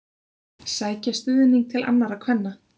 Sækja stuðning til annarra kvenna